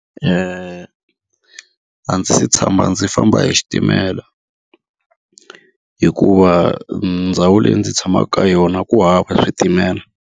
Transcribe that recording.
a ndzi se tshama ndzi famba hi xitimela, hikuva ndhawu leyi ndzi tshamaka ka yona ku hava switimela.